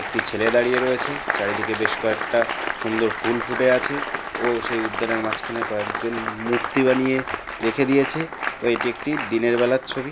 একটি ছেলে দাঁড়িয়ে রয়েছে। চারিদিকে বেশ কয়েকটা সুন্দর ফুল ফুটে আছে ও সেই উদ্যানের মাঝখানে কয়েকজন মূর্তি বানিয়ে রেখে দিয়েছে ও এটি একটি দিনের বেলার ছবি।